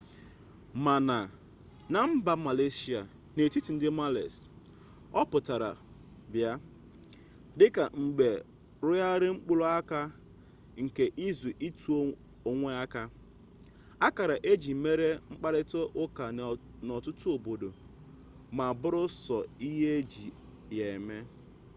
ma na na mba malesia n'etiti ndị males ọ pụtara bịa dịka mgbe rọgharịrị mkpụrụ aka nke izi ịtụ onwe aka akara e ji mere mkparịta ụka n'ọtụtụ obodo ma bụrụ sọ ihe eji ya eme